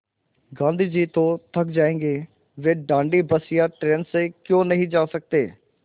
गाँधी जी तो थक जायेंगे वे दाँडी बस या ट्रेन से क्यों नहीं जा सकते